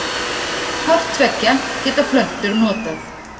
Hvort tveggja geta plöntur notað.